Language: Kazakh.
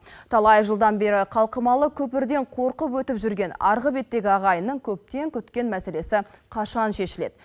талай жылдан бері қалқымалы көпірден қорқып өтіп жүрген арғы беттегі ағайынның көптен күткен мәселесі қашан шешіледі